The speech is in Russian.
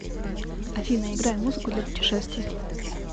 афина играй музыку для путешествий